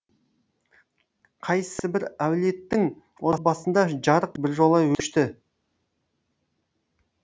қайсыбір әулеттің отбасында жарық біржола өшті